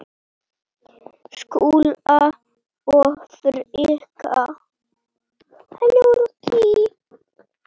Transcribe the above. Skúla og Frikka?